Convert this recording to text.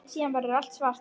Síðan verður allt svart.